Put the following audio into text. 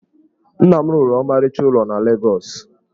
Nna m rụrụ ọmarịcha ụlọ na Legọs.